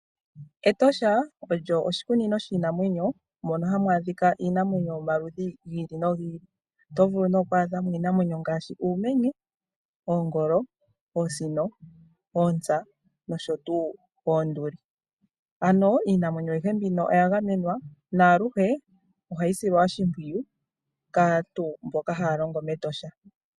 Etosha olyo oshikunino shiinamwenyo mono hamu adhika iinamwenyo yomaludhi gi ili nogi ili. Oto vulu ne oku adha mo iinamwenyo ngaashi uumenye, oongolo, oosino, oontsa nosho tuu oonduli. Ano iinamwenyo ayihe mbino oya gamenwa naaluhe ohayi silwa oshimpwiyu kaantu mboka haya longo mEtosha.